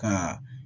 Ka